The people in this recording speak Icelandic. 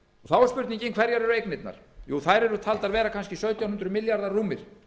þá er spurningin hverjar eru eignirnar jú þær eru taldar vera kannski sautján hundruð milljarðar rúmir